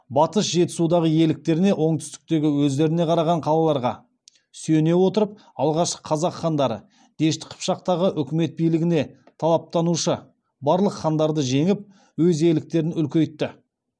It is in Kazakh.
батыс жетісудағы иеліктеріне оңтүстіктегі өздеріне қараған қалаларға сүйене отырып алғашқы қазақ хандары дешті қыпшақтағы өкімет билігіне талаптанушы барлық хандарды жеңіп өз иеліктерін үлкейтті